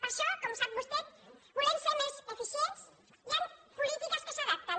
per això com sap vostè volem ser més eficients i amb polítiques que s’adaptin